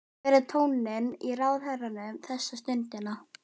Hver er tónninn í ráðherranum þessa stundina?